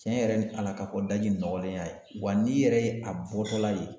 Tiɲɛ yɛrɛ ni ala ka fɔ daji nɔgɔlenya ye wa n'i yɛrɛ ye a bɔtɔla ye